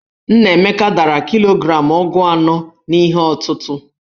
Nnaemeka dara kilogramụ ogu anọ n'ihe ọtụtụ̀.